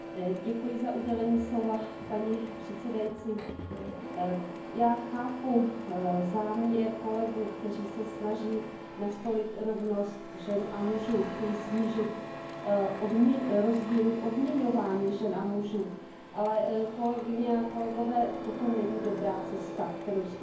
Paní předsedající, já chápu záměr kolegů, kteří se snaží nastolit rovnost žen a mužů, chtějí snížit rozdíly v odměňování žen a mužů, ale kolegyně a kolegové, toto není dobrá cesta, kterou jste zvolili.